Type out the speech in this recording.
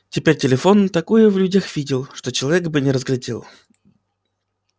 теперь телефон не такое в людях видел что человек бы не разглядел